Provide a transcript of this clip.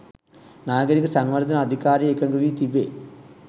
නාගරික සංවර්ධන අධිකාරිය එකඟ වී තිබේ.